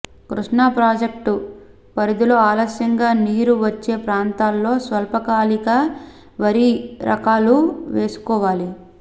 Krishna project పరిధిలో ఆలస్యంగా నీరు వచ్చే ప్రాంతాల్లో స్వల్పకాలిక వరి రకాలు వేసుకోవాలి